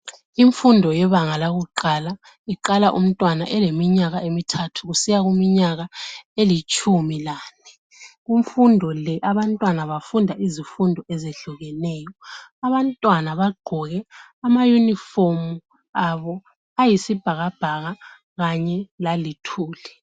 Imfundo yebanga lakuqala iqala umntwana eleminyaka emithathu kusiya kuminyaka elitshumilane. imfundo le abantwana bafunda izifundo ezehlukeneyo, abantwana bagqoke amayunifomu abo ayisibhakabhaka Kanye laluthuli.